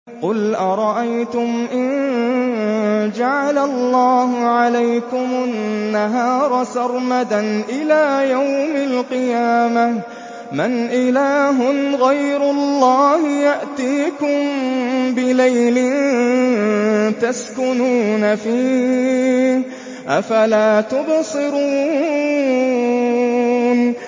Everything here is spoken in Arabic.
قُلْ أَرَأَيْتُمْ إِن جَعَلَ اللَّهُ عَلَيْكُمُ النَّهَارَ سَرْمَدًا إِلَىٰ يَوْمِ الْقِيَامَةِ مَنْ إِلَٰهٌ غَيْرُ اللَّهِ يَأْتِيكُم بِلَيْلٍ تَسْكُنُونَ فِيهِ ۖ أَفَلَا تُبْصِرُونَ